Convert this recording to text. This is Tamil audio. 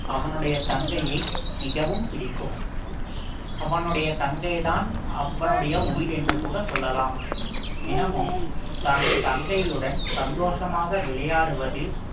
அவனுடைய தங்கையை மிகவும் பிடிக்கும் அவனுடைய தங்கைதான் அவனுடைய உயிர் என்று கூட சொல்லலாம் தினமும் தன் தங்கையுடன் சந்தோஷமாக விளையாடுவது